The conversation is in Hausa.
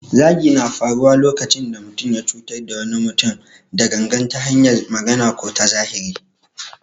Zagi na faruwa lokacin da mutum ya cutar da wani mutum da gangan ta hanyar magana ko ta zahiri.